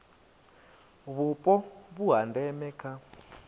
vhupo vhu ha ndeme kha